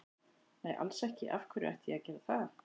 Nei alls ekki, af hverju ætti ég að gera það?